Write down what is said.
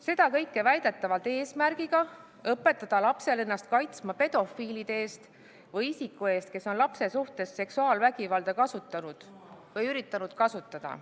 Seda kõike väidetavalt eesmärgiga õpetada last ennast kaitsma pedofiilide eest või isiku eest, kes on lapse suhtes seksuaalvägivalda kasutanud või üritanud kasutada.